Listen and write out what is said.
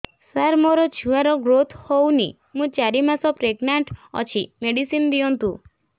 ସାର ମୋର ଛୁଆ ର ଗ୍ରୋଥ ହଉନି ମୁ ଚାରି ମାସ ପ୍ରେଗନାଂଟ ଅଛି ମେଡିସିନ ଦିଅନ୍ତୁ